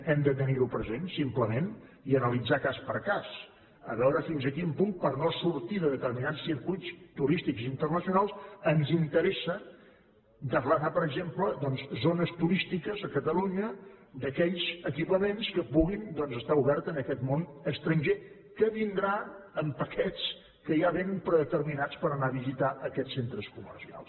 hem de tenir ho present simplement i analitzar cas per cas a veure fins a quin punt per no sortir de determinats circuits turístics internacionals ens interessa declarar per exemple doncs zones turístiques a catalunya d’aquells equipaments que puguin doncs estar oberts en aquest món estranger que vindrà amb paquets que ja vénen predeterminats per anar a visitar aquests centres comercials